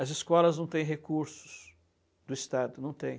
As escolas não têm recursos do Estado, não têm.